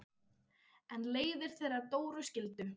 En leiðir þeirra Dóru skildu.